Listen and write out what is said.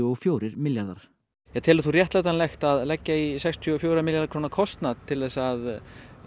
og fjórir milljarðar telur þú réttætanlegt að leggja í sextíu og fjögurra milljarða króna kostað til að